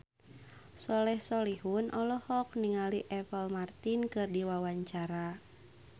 Soleh Solihun olohok ningali Apple Martin keur diwawancara